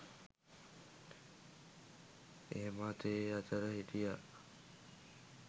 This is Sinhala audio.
එහෙමත් ඒ අතර හිටියා.